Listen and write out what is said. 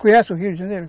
Conhece o Rio de Janeiro?